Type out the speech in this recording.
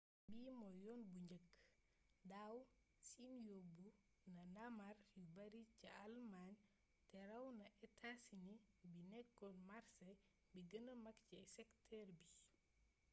bii mooy yoon bu njëkk daaw siin yobbu na ndaamaar yu bari ca almaañ te ràw na etaa sini bi nekkoon màrsé bi gëna mag ci sektër bi